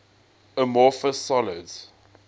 amorphous solids